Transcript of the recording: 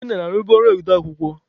Uchenna na-arụbu ọrụ odeakụkọ.